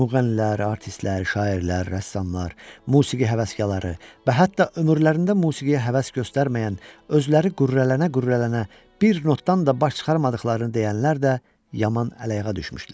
Müğənnilər, artistlər, şairlər, rəssamlar, musiqi həvəskarları və hətta ömürlərində musiqiyə həvəs göstərməyən, özləri qürrələnə-qürrələnə bir notdan da baş çıxarmadıqlarını deyənlər də yaman ələ-ayağa düşmüşdülər.